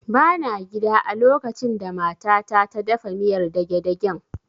Ba na gida a lokacin da mata ta ta dafa miyar dagedagen